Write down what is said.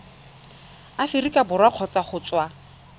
aforika borwa kgotsa go tswa